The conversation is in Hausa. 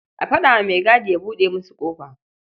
A faɗa wa maigadi ya buɗe musu ƙofa.